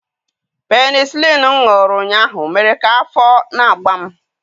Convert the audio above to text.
Penisilinụ m ṅụrụ ụnyahụ mere ka afọ na-agba m.